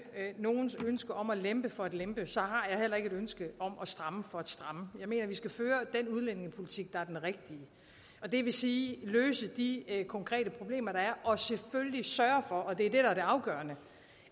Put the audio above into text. nogens ønske om at lempe for at lempe har jeg heller ikke et ønske om at stramme for at stramme jeg mener vi skal føre den udlændingepolitik der er den rigtige og det vil sige løse de konkrete problemer der er og selvfølgelig sørge for og det er det der er det afgørende